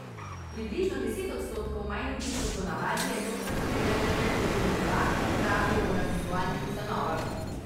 Približno deset odstotkov manj ljudi kot po navadi je tokrat spremljalo predvolilne debate, pravijo v raziskovalnih ustanovah.